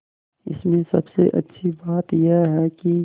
इसमें सबसे अच्छी बात यह है कि